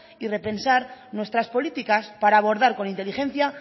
y repensar nuestras políticas para abordar con inteligencia